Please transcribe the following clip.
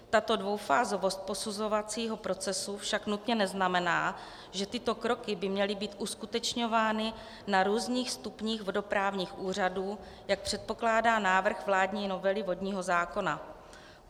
Tato dvoufázovost posuzovacího procesu však nutně neznamená, že tyto kroky by měly být uskutečňovány na různých stupních vodoprávních úřadů, jak předpokládá návrh vládní novely vodního zákona.